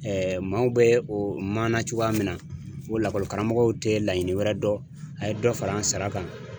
maaw bɛ o maana cogoya min na ko lakɔlikaramɔgɔw tɛ laɲini wɛrɛ dɔn a ye dɔ fara an sara kan.